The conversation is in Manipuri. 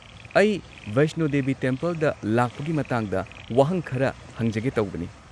ꯑꯩ ꯕꯩꯁꯅꯣ ꯗꯦꯕꯤ ꯇꯦꯝꯄꯜꯗ ꯂꯥꯛꯄꯒꯤ ꯃꯇꯥꯡꯗ ꯋꯥꯍꯪ ꯈꯔ ꯍꯪꯖꯒꯦ ꯇꯧꯕꯅꯤ꯫